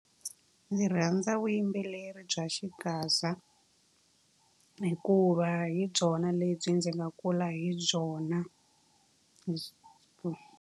Ndzi rhandza vuyimbeleri bya xigaza hikuva hi byona lebyi ndzi nga kula hi byona .